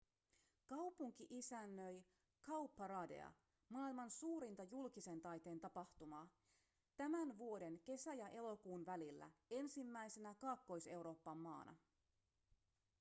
kaupunki isännöi cowparadea maailman suurinta julkisen taiteen tapahtumaa tämän vuoden kesä- ja elokuun välillä ensimmäisenä kaakkois-euroopan maana